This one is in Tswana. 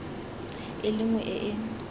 e le nngwe e e